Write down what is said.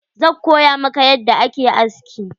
Zan koya maka yadda ake aski.